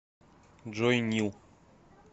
джой нил